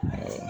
Mɛ